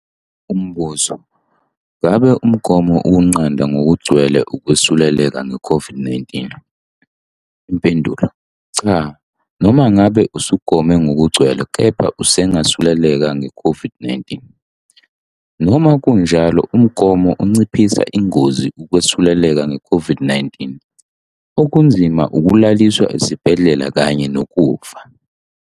Umbuzo - Ngabe umgomo ukunqanda ngokugcwele ukwesuleleka ngeCOVID-19? Impendulo- Cha. Noma ngabe usugome ngokugcwele kepha usangasuleleka ngeCOVID-19. Noma kunjalo, umgomo unciphisa ingozi yokwesuleleka ngeCOVID-19 okunzima, ukulaliswa esibhedlela kanye nokufa.